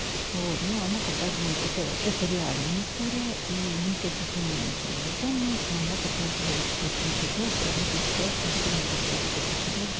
вот ну она показывает это это реальная история и никаких имён не знаю не помню но она показывает в общем-то то что в этой ситуации все может сработать точно также